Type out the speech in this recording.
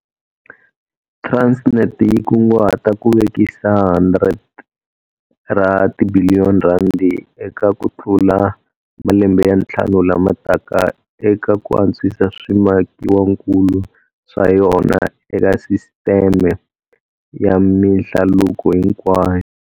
Transnet yi kunguhata ku vekisa R100 ra tibiliyoni eka kutlula malembe ya ntlhanu lama taka eka ku antswisa swimakiwakulu swa yona eka sisiteme ya mihlaluko hinkwayo.